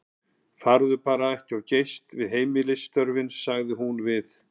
Farðu þér bara ekki of geyst við heimilisstörfin, sagði hún við